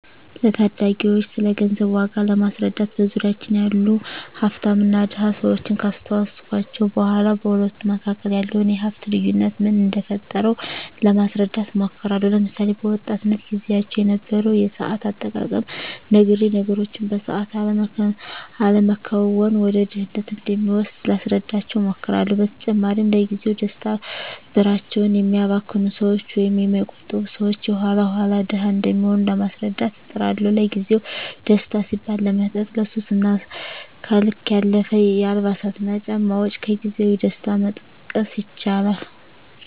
ለታዳጊወች ስለገንዘብ ዋጋ ለማስረዳት በዙሪያችን ያሉ ሀፍታምና ድሀ ሰወችን ካስታወስኳቸው በኋ በሁለቱ መካከል ያለውን የሀፍት ልዮነት ምን እደፈጠረው ለማስረዳት እሞክራለሁ። ለምሳሌ፦ በወጣትነት ግዚያቸው የነበረውን የሰአት አጠቃቀም ነግሬ ነገሮችን በሰአት አለመከወን ወደ ድህነት እንደሚወስድ ላስረዳቸው እሞክራለው። በተጨማሪም ለግዚያዊ ደስታ ብራቸውን የሚያባክኑ ሰወች ወይም የማይቆጥቡ ሰወች የኋላ ኋላ ድሀ እንደሚሆኑ ለማስረዳት እጥራለሁ። ለግዜአዊ ደስታ ሲባል ለመጠጥ፣ ለሱስ እና ከልክ ያለፈ የአልባሳትና ጫማ ወጭ ከግዜያዊ ደስታ መጠቀስ ይችላሉ።